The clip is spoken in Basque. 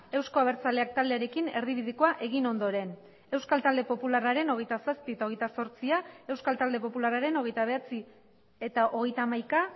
euzko abertzaleak taldearekin erdibidekoa egin ondoren euskal talde popularraren hogeita zazpi eta hogeita zortzia euskal talde popularraren hogeita bederatzi eta hogeita hamaika